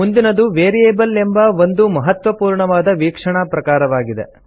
ಮುಂದಿನದು ವೇರಿಯಬಲ್ ಎಂಬ ಒಂದು ಮಹತ್ವಪೂರ್ಣವಾದ ವೀಕ್ಷಣಾ ಪ್ರಕಾರವಾಗಿದೆ